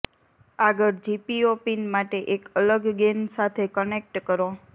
આગળ GPO pin માટે એક અલગ ગૅન સાથે કનેક્ટ કરો